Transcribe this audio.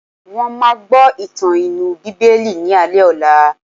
Wọ́n máa gbọ́ ìtàn inú bíbélì ni alé ọ̀la.